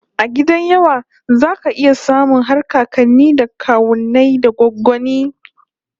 A gidan yawa zaka iya samun har kakanni da kawunnai da goggonni